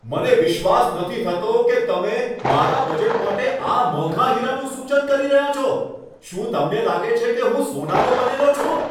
મને વિશ્વાસ નથી થતો કે તમે મારા બજેટ માટે આ મોંઘા હીરાનું સૂચન કરી રહ્યાં છો! શું તમને લાગે છે કે હું સોનાનો બનેલો છું?